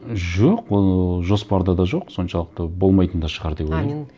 жоқ ол жоспарда да жоқ соншалықты болмайтын да шығар деп ойлаймын а мен